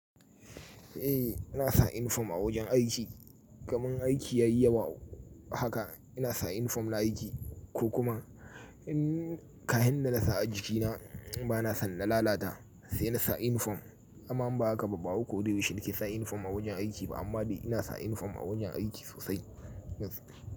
Eh, ina sa inifom a wajen aiki. Kamar aiki yayi yawa haka ina sa inifom na aiki ko kuma in ka hen da na sa a jikina bana son na lalata sai na sa inifom. Aman ba haka ba, ba uku da huɗu shine ke sa inifom a wajen aiki ba, amma dai ina sa inifom a wajen aiki sosai.